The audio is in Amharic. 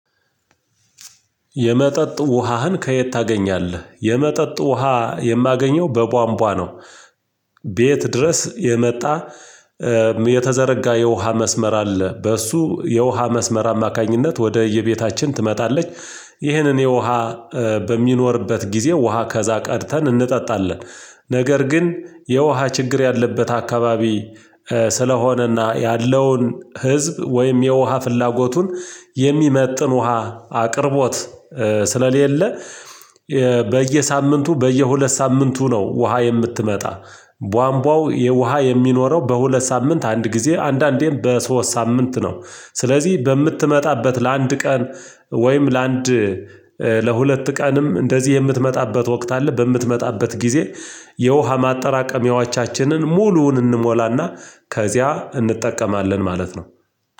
የመጠጥ ውሃህን ከየት ታገኛለህ? የመጠጥ ውሃ የማገኘው በቧንቧ ነው ቤት ድረስ የመጣ የተዘረጋ የውሃ መስመር አለ በሱ የውሃ መስመር አማካኝነት ወደየቤታችን ትመጣለች ይህንን የውሃ በሚኖርበት ጊዜ ውሃ ከዛ ቀድተን እንጠጣለን። ነገር ግን የውሃ ችግር ያለበት አካባቢ ስለሆነ እና ያለውን ህዝብ ወይም የውሃ ፍላጎቱን የሚመጥን ውሃ አቅርቦት ስለሌለ በየሳምንቱ በየሁለት ሳምንቱ ነው ውሃ የምትመጣ ባንቧ የውሃ የሚኖረው በሁለት ሳምንት አንድ ጊዜ አንዳንዴም በሶስት ሳምንት ነው ስለዚህ በምትመጣበት ለአንድ ቀን ወይም ለአንድ ለሁለት ቀንም እንደዚህ የምትመጣበት ወቅት አለ፤ በምትመጣበት ጊዜ የውሃ ማጠራቀሚያዎቻችንን ሙሉውን እንሞላና ከዚያ እንጠቀማለን ማለት ነው።